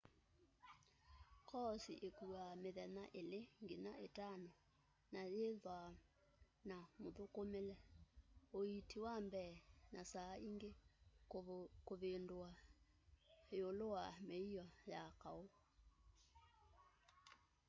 koosi îkuaa mithenya 2-5 na yîîthwa na muthukumile uiiti wa mbee na saa ingi kûvundîw'a îûlû wa mîio ya kaû